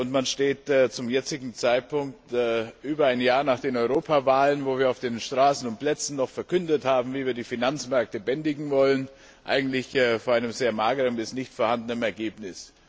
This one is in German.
Man steht zum jetzigen Zeitpunkt, über ein Jahr nach den Europawahlen, wo wir auf den Straßen und Plätzen noch verkündet haben, wie wir die Finanzmärkte bändigen wollen, eigentlich vor einem sehr mageren bis nicht vorhandenen Ergebnis.